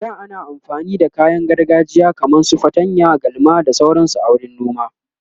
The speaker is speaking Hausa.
a da ana amfani da kayan gargajiya kaman su fatanya, galma da sauransu a wurin noma.